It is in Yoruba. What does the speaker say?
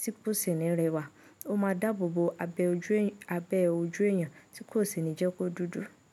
tí kò sì ní rẹwà. Ó máa dàbò bo abẹ́ ojú èèyàn tí kò sì ní jẹ́ kó dúdú.